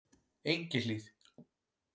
Engihlíð